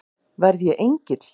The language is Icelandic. Verð ég engill?